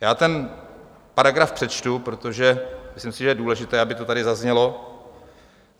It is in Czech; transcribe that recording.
Já ten paragraf přečtu, protože si myslím, že je důležité, aby to tady zaznělo.